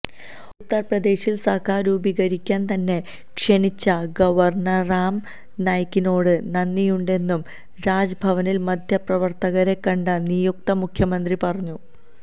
ഉത്തര്പ്രദേശില് സര്ക്കാര് രൂപീകരിക്കാന് തന്നെ ക്ഷണിച്ച ഗവര്ണര് രാം നായ്ക്കിനോട് നന്ദിയുണ്ടെന്നും രാജ്ഭവനില് മാധ്യമപ്രവര്ത്തകരെ കണ്ട നിയുക്ത മുഖ്യമന്ത്രി പറഞ്ഞു